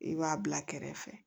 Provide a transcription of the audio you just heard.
I b'a bila kɛrɛ fɛ